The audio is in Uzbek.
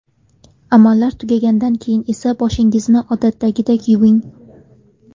Amallar tugagandan keyin esa boshingizni odatdagidek yuving.